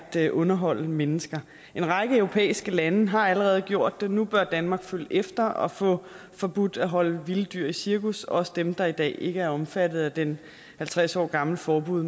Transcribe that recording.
er at underholde mennesker en række europæiske lande har allerede gjort det og nu bør danmark følge efter og få forbudt at holde vilde dyr i cirkus også dem der i dag ikke er omfattet af det halvtreds år gamle forbud